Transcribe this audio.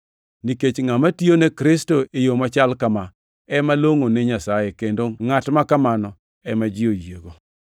nikech ngʼama tiyo ne Kristo e yo machal kama ema longʼo ne Nyasaye, kendo ngʼat ma kamano ema ji oyiego.